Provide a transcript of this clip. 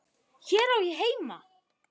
Hér á ég heima.